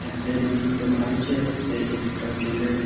এক সাইড -এ অনেক গুলো গাছ আছে | আর এক সাইড -এ একটা জলের --